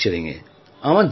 ওরা ইতালি গিয়েছিল মেলায়